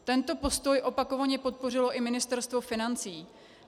Tento postoj opakovaně podpořilo i Ministerstvo financí.